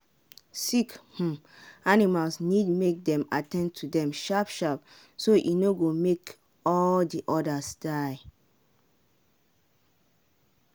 sick um animals need make dem at ten d to them sharp sharp so e no go make all the others die.